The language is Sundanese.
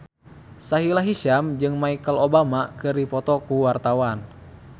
Sahila Hisyam jeung Michelle Obama keur dipoto ku wartawan